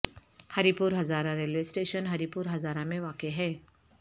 ہری پور Hazara railway station Haripur Hazara میں واقع ہے